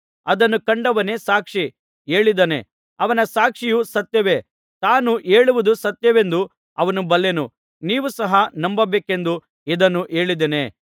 ಅದನ್ನು ಕಂಡವನೇ ಸಾಕ್ಷಿ ಹೇಳಿದ್ದಾನೆ ಅವನ ಸಾಕ್ಷಿಯು ಸತ್ಯವೇ ತಾನು ಹೇಳುವುದು ಸತ್ಯವೆಂದು ಅವನು ಬಲ್ಲನು ನೀವು ಸಹ ನಂಬಬೇಕೆಂದು ಇದನ್ನು ಹೇಳಿದ್ದಾನೆ